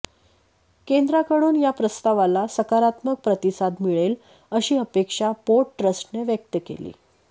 केंद्राकडून या प्रस्तावाला सकारात्मक प्रतिसाद मिळेल अशी अपेक्षा पोर्ट ट्रस्टने व्यक्त केली